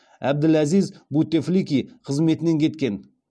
әбділәзиз бутефлики қызметінен кеткен